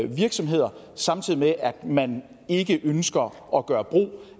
virksomheder samtidig med at man ikke ønsker at gøre brug